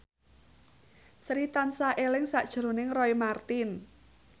Sri tansah eling sakjroning Roy Marten